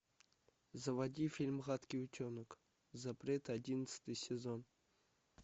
заводи фильм гадкий утенок запрет одиннадцатый сезон